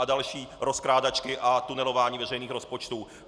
A další rozkrádačky a tunelování veřejných rozpočtů.